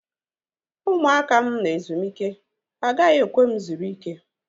Ụmụaka m nọ ezumike. Ha agaghị ekwe m zuru ike